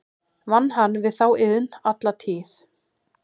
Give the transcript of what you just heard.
Vann hann við þá iðn alla tíð.